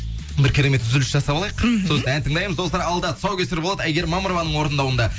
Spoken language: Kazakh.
бір керемет үзіліс жасап алайық сосын ән тыңдаймыз достар алда тұсаукесер болады әйгерім мамырованың орындауында